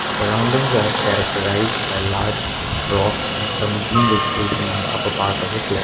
surroundings are characterised by large rocks and some green vegetation on the upper parts of the cl--